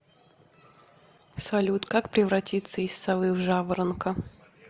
салют как превратиться из совы в жаворонка